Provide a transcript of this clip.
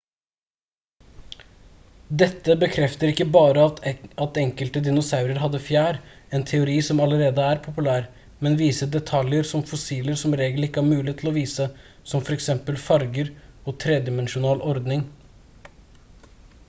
dette bekrefter ikke bare at enkelte dinosaurer hadde fjær en teori som allerede er populær men viser detaljer som fossiler som regel ikke har mulighet til å vise som f.eks farger og tredimensjonal ordning